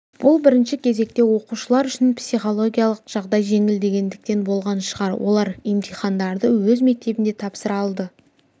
бұл бірінші кезекте оқушылар үшін психологиялық жағдай жеңілдегендіктен болған шығар олар емтихандарды өз мектебінде тапсыра алды